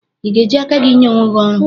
I ga-eji aka gị nye onwe gị ọrụ?